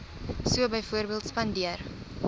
so byvoorbeeld spandeer